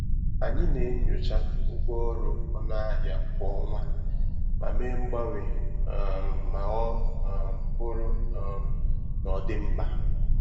Anyị na-enyocha ụgwọ ọrụ ọnụ ahịa kwa ọnwa ma mee mgbanwe um ma ọ um bụrụ um na ọ dị mkpa.